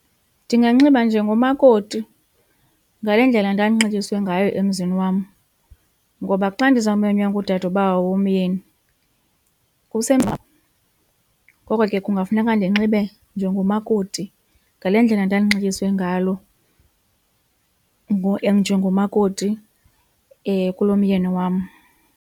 Ndinganxiba njengomakoti ngale ndlela ndandinxityiswe ngayo emzini wam ngoba xa ndizawumenywa ngudadobawo womyeni . Ngoko ke kungafuneka ndinxibe njengomakoti, ngale ndlela ndandinxityiswe ngalo njengomakoti kulo myeni wam.